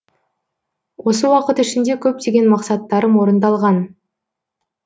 осы уақыт ішінде көптеген мақсаттарым орындалған